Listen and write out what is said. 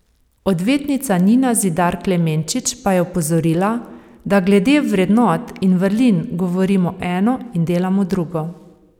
Odvetnica Nina Zidar Klemenčič pa je opozorila, da glede vrednot in vrlin govorimo eno in delamo drugo.